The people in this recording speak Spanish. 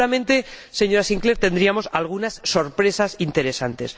Y seguramente, señora Sinclaire, tendríamos algunas sorpresas interesantes.